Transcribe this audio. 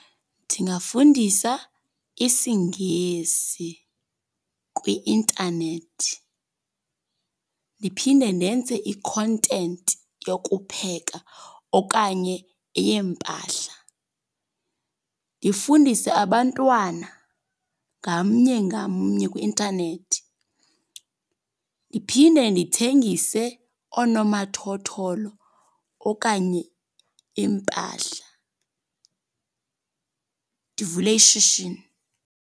Ndingafundisa isiNgesi kwi-intanethi. Ndiphinde ndenze i-content yokupheka okanye eyempahla. Ndifundise abantwana ngamnye ngamnye kwi-intanethi. Ndiphinde ndithengise onomathotholo okanye impahla, ndivule ishishini.